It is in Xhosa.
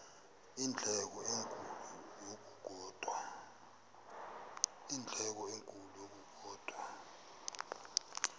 iindleko ezinkulu ngokukodwa